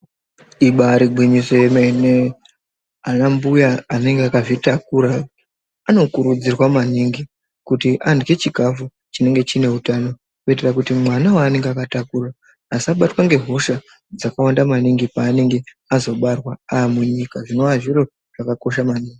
Ibari gwinyiso yemene anambuya anenge akazvitakura anokurudzirwa maningi kuti arye chikafu chinenge chine utano kuitira kuti mwana waanenge akatakura asabatwa ngehosha dzakawanda maningi paanenge azobarwa amunyika zvinova zviro zvakakosha maningi.